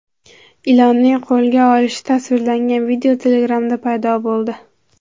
Ilonning qo‘lga olinishi tasvirlangan video Telegram’da paydo bo‘ldi .